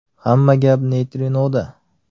Hamma gap neytrinoda!